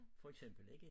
For eksempel ikke